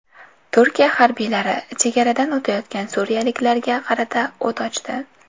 Turkiya harbiylari chegaradan o‘tayotgan suriyaliklarga qarata o‘t ochdi.